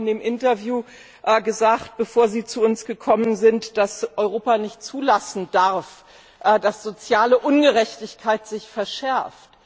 Sie haben in dem Interview gesagt, bevor Sie zu uns gekommen sind, dass Europa nicht zulassen darf, dass soziale Ungerechtigkeit sich verschärft.